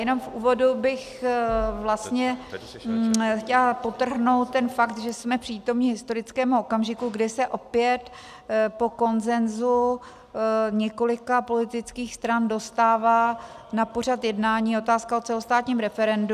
Jenom v úvodu bych vlastně chtěla podtrhnout ten fakt, že jsme přítomni historickému okamžiku, kde se opět po konsenzu několika politických stran dostává na pořad jednání otázka o celostátním referendu.